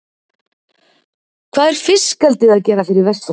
Hvað er fiskeldið að gera fyrir Vestfirðinga?